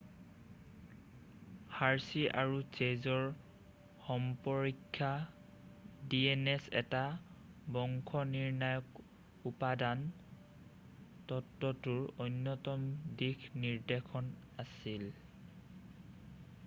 Hershey আৰু চে'জৰ সম্পৰীক্ষা dns এটা বংশনিৰ্ণায়ক উপাদান তত্বটোৰ অন্যতম দিশ নিৰ্দেশক আছিল